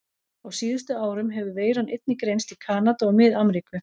Á síðustu árum hefur veiran einnig greinst í Kanada og Mið-Ameríku.